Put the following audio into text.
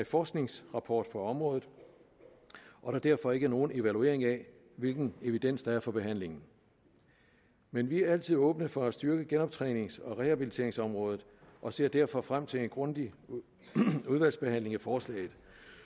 forskningsrapport for området og der derfor ikke er nogen evaluering af hvilken evidens der er for behandlingen men vi er altid åbne for at styrke genoptrænings og rehabiliteringsområdet og ser derfor frem til en grundig udvalgsbehandling af forslaget